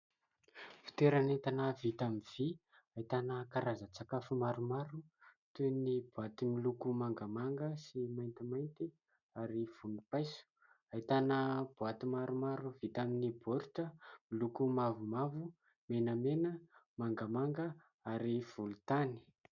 Fitoeran'entana vita amin'ny vy. Ahitana karazan-tsakafo maromaro toy ny boaty miloko mangamanga sy maintimainty ary vonimpaiso. Ahitana boaty maromaro vita amin'ny baoritra miloko mavomavo, menamena mangamanga ary volontany.